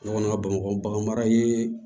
Ne kɔni ka bamakɔ bagan mara ye